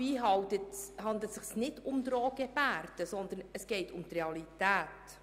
Dabei handelt es sich nicht um Drohgebärden, sondern um die Realität.